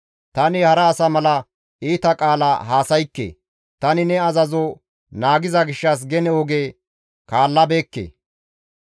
Tani hara asa mala iita qaala haasaykke; tani ne azazo naagiza gishshas gene oge kaallabeekke.